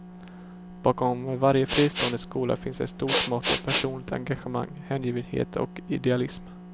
Bakom varje fristående skola finns ett stort mått av personligt engagemang, hängivenhet och idealism.